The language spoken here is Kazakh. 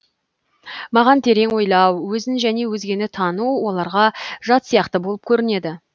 маған терең ойлау өзін және өзгені тану оларға жат сияқты болып көрінеді